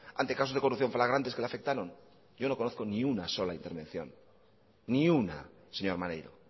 ante casos de corrupción flagrantes que le afectaron yo no conozco ni una sola intervención ni una señor maneiro